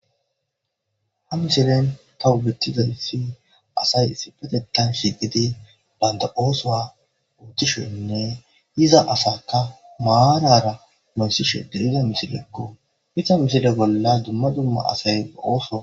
Ha misilen tahu bettizayssi asay sipetetan shigidi baynda ooso uotishonne iza asaka maarara mansishe deriza misilekko hita misile bolla dumma dumma asay ooso.